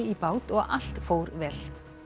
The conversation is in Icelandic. bát og allt fór vel